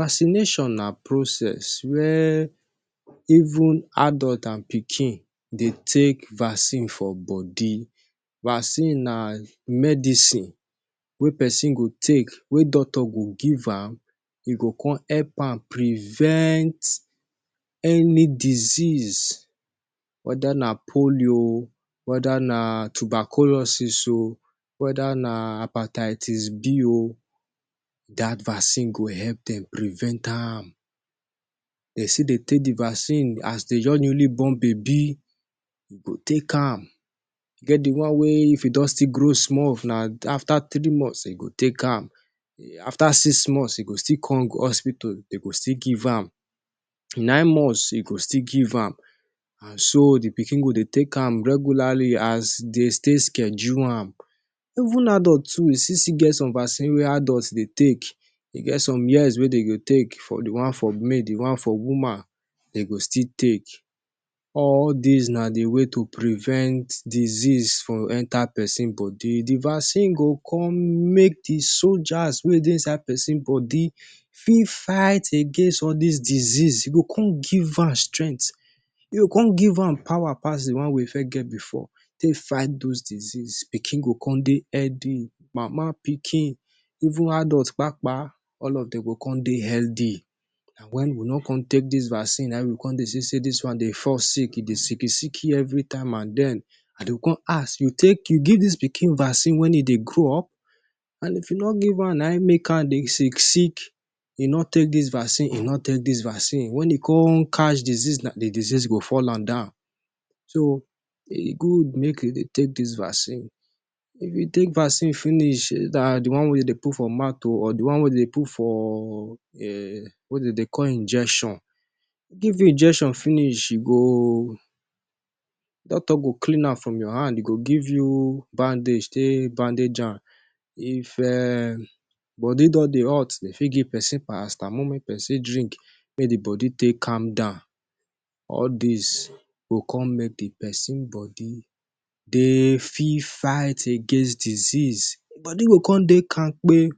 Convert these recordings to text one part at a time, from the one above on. Vaccination na process wia even adult and pikin dey take vaccine for body. Vaccine na medicine wey pesin go take, wey doctor go give am. E go come help am privent any disease, weda na polio oh, weda na tuberculosis oh, weda na hepatitis B oh. Dat vaccine go help dem privent am. Dey still dey take the vaccine as dey just newly born baby. You go take am, get the one wey, if e don still grow small, if na after three months, e go take am. After six months, you go still come go hospital, dem go still give am. Nine months, e go still give am, and so the pikin go dey take am regularly, as dey take schedule am. Even adult too, we still get some vaccines wey adult dey take. E get some years wey dem go take. The one for male, the one for woman, dem go still take. All dis na di way to privent disease from enta pesin body. Di vaccine go come make di soldiers wey dey inside pesin body fit fight against all dis disease. E go come give am strength. E go come give am power pass di one wey e first get bifor, take fight dose diseases. Pikin go come dey healthy. Mama and pikin, even adult kpakpa, all of dem go come dey healthy. Na wen we no come take dis vaccine, na im we go come dey see say dis one dey fall sick, e dey sicky sicky evritime. And den, dem go come ask you, “You take, you give dis pikin vaccine wey e dey grow up?” And if you no give am, na him make am sick. E no take dis vaccine. Say e no take dis vaccine, wen e come catch disease, di disease go fall am down. So, e good make e dey take dis vaccine. If you take vaccine finish, dat’s di one wey dey put for mouth too, or di one wey dey dey put for, wey dey call injection, give you injection finish, doctor go clean am from your hand. E go give you bandage, take bandage am. If body don dey hot, dey fit give pesin paracetamol make pesin drink, make di body take calm down. All dis go come make di pesin body dey fit fight against disease. Body go come dey kamkpe.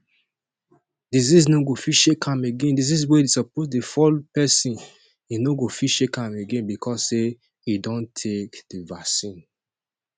Disease no go fit shake am again. Disease wey im suppose dey fall pesin, e no go fit shake am again, bicos say e don take di vaccine.